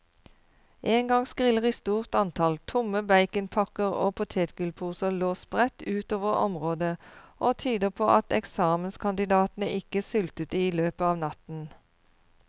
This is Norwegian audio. Engangsgriller i stort antall, tomme baconpakker og potetgullposer lå spredt utover området og tyder på at eksamenskandidatene ikke sultet i løpet av natten.